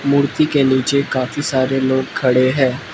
मूर्ति के नीचे काफी सारे लोग खड़े हैं।